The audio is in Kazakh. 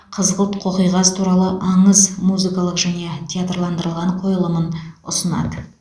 қызғылт қоқиқаз туралы аңыз музыкалық және театрландырылған қойылымын ұсынады